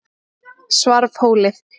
Svarfhóli